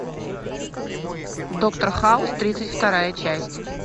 доктор хаус тридцать вторая часть